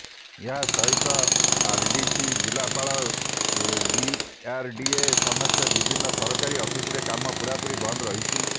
ଏହା ସହିତ ଆର୍ଡିସି ଜିଲ୍ଲାପାଳ ଡିଆର୍ଡିଏ ସମେତ ବିଭିନ୍ନ ସରକାରୀ ଅଫିସରେ କାମ ପୁରାପୁରି ବନ୍ଦ ରହିଛି